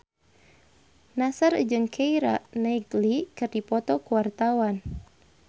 Nassar jeung Keira Knightley keur dipoto ku wartawan